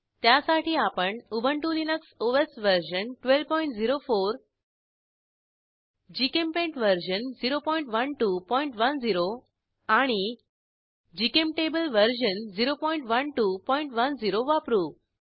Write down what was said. त्यासाठी आपण Ubuntu Linux OS version 1204 GChemPaint version 01210आणि जीचेम्टेबल वर्जन 01210 वापरू